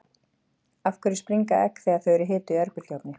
af hverju springa egg þegar þau eru hituð í örbylgjuofni